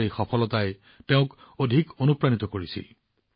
তেওঁৰ এই সফলতাই তেওঁক আৰু অধিক অনুপ্ৰাণিত কৰিছিল